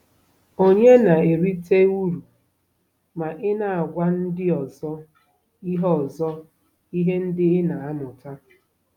Ònye na-erite uru ma ị na-agwa ndị ọzọ ihe ọzọ ihe ndị ị na-amụta?